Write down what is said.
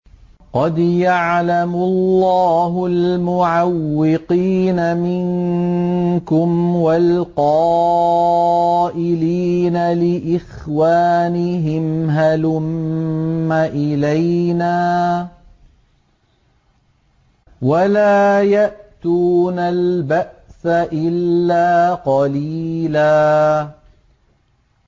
۞ قَدْ يَعْلَمُ اللَّهُ الْمُعَوِّقِينَ مِنكُمْ وَالْقَائِلِينَ لِإِخْوَانِهِمْ هَلُمَّ إِلَيْنَا ۖ وَلَا يَأْتُونَ الْبَأْسَ إِلَّا قَلِيلًا